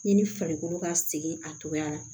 Yani farikolo ka segin a togoya la